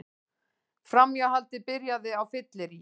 Framhjáhaldið byrjaði á fylleríi